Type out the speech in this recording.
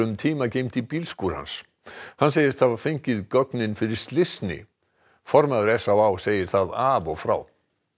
tíma geymd í bílskúr hans hann segist hafa fengið gögnin fyrir slysni formaður s á á segir það af og frá